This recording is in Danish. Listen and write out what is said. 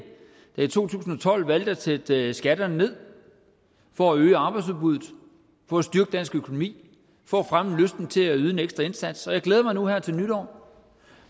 der i to tusind og tolv valgte at sætte skatterne ned for at øge arbejdsudbuddet for at styrke dansk økonomi for at fremme lysten til at yde en ekstra indsats jeg glæder mig nu her til nytår